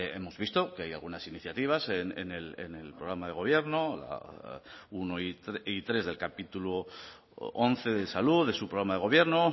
hemos visto que hay algunas iniciativas en el programa de gobierno uno y tres del capítulo once de salud de su programa de gobierno